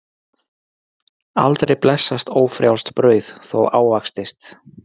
Aldrei blessast ófrjálst brauð þó ávaxtist.